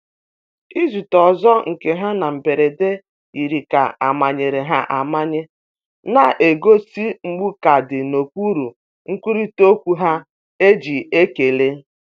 Izute ọzọ nke ha na mberede yiri ka amanyere ya amanye, na-egosi mgbu ka dị n’okpuru nkwurịta okwu e ji ekele.